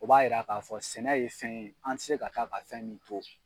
O b'a jira k'a fɔ sɛnɛ ye fɛn ye , an tɛ se ka taa ka fɛn min to.